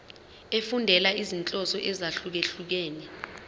efundela izinhloso ezahlukehlukene